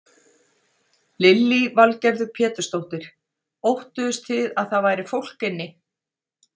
Lillý Valgerður Pétursdóttir: Óttuðust þið að það væri fólk inni?